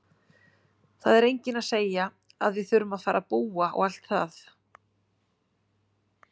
Það er enginn að segja að við þurfum að fara að búa og allt það!